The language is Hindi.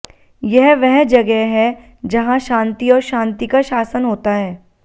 यह वह जगह है जहां शांति और शांति का शासन होता है